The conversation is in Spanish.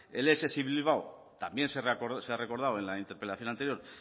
el ess bilbao también se ha recordado en la interpelación anterior